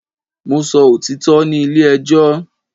Mo sọ òtítọ́ ní ilé ẹjọ́